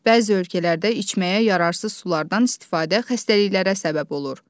Bəzi ölkələrdə içməyə yararsız sulardan istifadə xəstəliklərə səbəb olur.